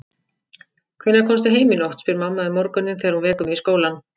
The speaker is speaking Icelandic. Hvenær komstu heim í nótt, spyr mamma um morguninn þegar hún vekur mig í skólann.